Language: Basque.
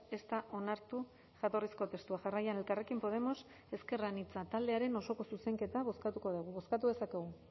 ez da onartu jatorrizko testua jarraian elkarrekin podemos ezker anitza taldearen osoko zuzenketa bozkatuko dugu bozkatu dezakegu